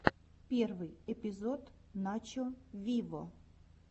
первый эпизод начо виво